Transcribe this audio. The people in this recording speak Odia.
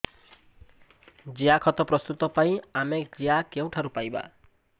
ଜିଆଖତ ପ୍ରସ୍ତୁତ ପାଇଁ ଆମେ ଜିଆ କେଉଁଠାରୁ ପାଈବା